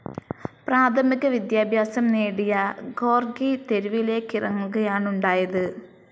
പ്രാഥമിക വിദ്യാഭ്യാസം നേടിയ ഗോർഖി തെരുവിലേക്കിറങ്ങുകയാണുണ്ടായത്.